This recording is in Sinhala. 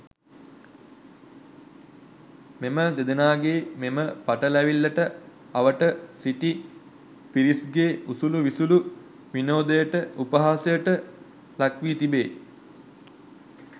මෙම දෙදෙනාගේ මෙම පටලැවිල්ලට අවට සිටි පිරිස්ගේ උසුලූ විසුලූ විනෝදයට උපහාසයට ලක්වී තිබේ.